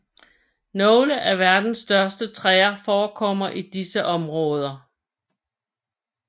Nogle af verdens største træer forekommer i disse områder